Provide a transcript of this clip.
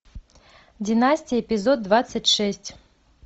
династия эпизод двадцать шесть